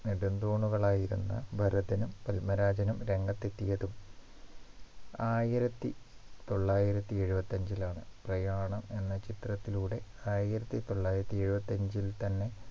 നെടുംതൂണുകൾ ആയിരുന്ന ഭരതനും പത്മരാജനും രംഗത്തെത്തിയതും ആയിരത്തി തൊള്ളായിരത്തി എഴുപത്തി അഞ്ചിൽ ആണ് പ്രയാണം എന്ന ചിത്രത്തിലൂടെ ആയിരത്തി തൊള്ളായിരത്തി എഴുപത്തി അഞ്ചിൽ തന്നെ